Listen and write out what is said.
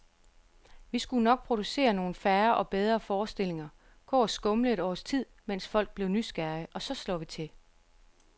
Vi skulle nok producere nogle færre og bedre forestillinger, gå og skumle et års tid, mens folk blev nysgerrige, og så slår vi til.